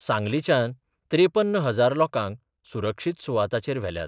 सांगलीच्यान त्रेपन्न हजार लोकांक सुरक्षीत सुवाताचेर व्हेल्यात.